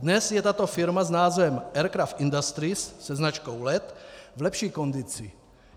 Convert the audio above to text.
Dnes je tato firma s názvem Aircraft Industries se značkou Let v lepší kondici.